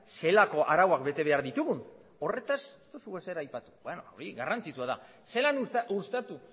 zelako arauak betebehar ditugun horretaz ez duzu ezer aipatu hori garrantzitsua da zelan uztartu